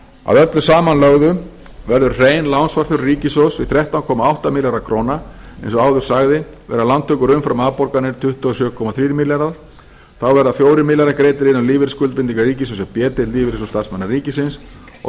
að öllu samanlögðu verður hrein lánsfjárþörf ríkissjóðs því þrettán komma átta milljarðar króna og eins og áður sagði verða lántökur umfram afborganir tuttugu og sjö komma þrír milljarðar þá verða fjórir milljarðar greiddir inn á lífeyrisskuldbindingar ríkissjóðs hjá b deild lífeyrissjóðs starfsmanna ríkisins og